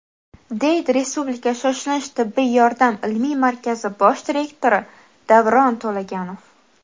deydi Respublika shoshilinch tibbiy yordam ilmiy markazi bosh direktori Davron To‘laganov.